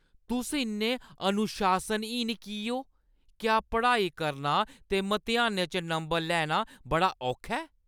तुस इन्ने अनुशासनहीन की ओ? क्या पढ़ाई करना ते मतेहानै च नंबर लैना बड़ा औखा ऐ?